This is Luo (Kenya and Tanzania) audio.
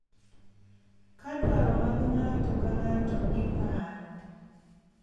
Ka dwaro mag ng’ato ka ng’ato iparo,